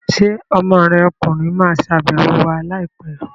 Ṣé ọmọ rẹ ọkùnrin ma wá ṣàbẹ̀wọ̀ wa láìpẹ́ l?